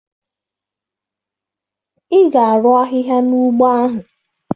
Ị ga-arụ ahịhịa n'ugbo ahụ!